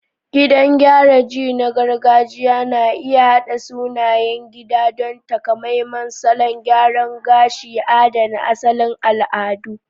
Gidan gyara ji na gargajiya na iya haɗa sunayen gida don takamaiman salon gyara gashi, adana asalin al'adu.